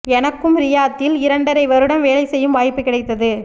எனக்கும் ரியாத்தில் இரண்டரை வருடம் வேலை செய்யும் வாய்ப்பு கிடைத்தது